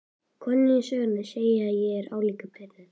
Konan í sögunni, segi ég álíka pirruð.